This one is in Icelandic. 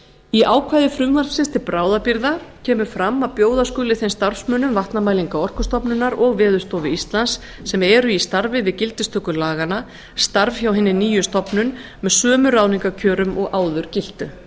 í ákvæði frumvarpsins til bráðabirgða kemur fram að bjóða skuli þeim starfsmönnum vatnamælinga orkustofnunar og veðurstofu íslands sem eru í starfi við gildistöku laganna starf hjá hinni nýju stofnun með sömu ráðningarkjörum og áður giltu